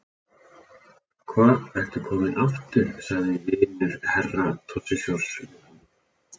Hva ertu kominn aftur, sagði vinur Herra Toshizoz við hann.